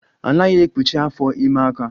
A naghi ekpụchi afọ ime aka